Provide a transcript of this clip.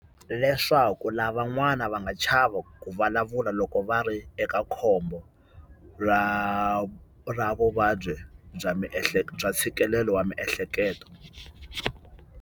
Leswaku lavan'wana va nga chavi ku vulavula loko va ri eka khombo ra ra vuvabyi bya miehleketo bya ntshikelelo wa miehleketo.